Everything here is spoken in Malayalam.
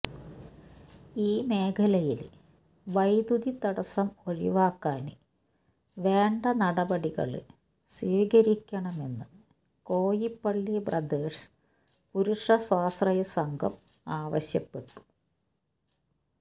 ഈ മേഖലയില് വൈദ്യുതി തടസ്സം ഒഴിവാക്കാന് വേണ്ട നടപടികള് സ്വീകരിക്കണമെന്ന് കോയിപ്പള്ളി ബ്രദേഴ്സ് പുരുഷസ്വാശ്രയ സംഘം ആവശ്യപ്പെട്ടു